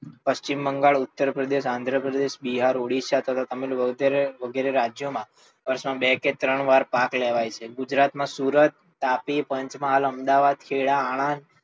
પશ્ચિમ બંગાળ, ઉત્તર પ્રદેશ, આન્દ્રપ્રદેશ, બિહાર, ઓડીસા વગેરે રાજ્યો માં વર્ષ માં બે કે ત્રણ વાર પાક લેવાય છે. ગુજરાત માં સુરત, તાપી, પંચમહાલ, અમદાવાદ, ખેડા, આણંદ,